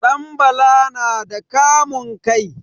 Ɗanbala na da kamun kai.